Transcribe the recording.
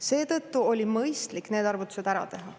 Seetõttu oli mõistlik need arvutused ära teha.